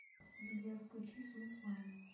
сбер включи зум слайм